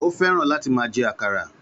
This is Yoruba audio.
Ó fẹ́ràn láti máa jẹ àkàrà